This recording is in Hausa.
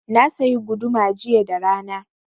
Na sayi guduma jiya da rana.